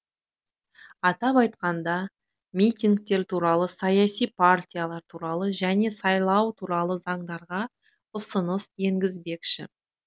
атап айтқанда митингтер туралы саяси партиялар туралы және сайлау туралы заңдарға ұсыныс енгізбекші